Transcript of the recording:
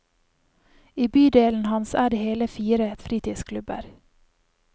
I bydelen hans er det hele fire fritidsklubber.